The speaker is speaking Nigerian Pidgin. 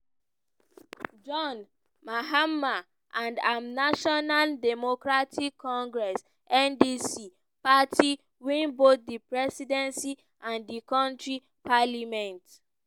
john mahama and im national democratic congress (ndc) party win both di presidency and di kontri parliament.